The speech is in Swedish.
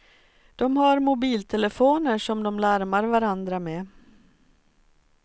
De har mobiltelefoner som de larmar varandra med.